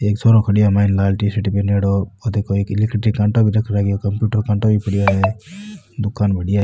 एक छोरो खडो है माइन लाल टी शर्ट पहनो दुकान बढ़िया है।